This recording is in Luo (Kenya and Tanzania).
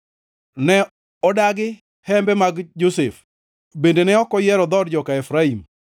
Ne odagi hembe mag Josef, bende ne ok oyiero dhood joka Efraim,